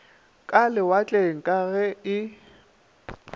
ka lewatleng ka ge e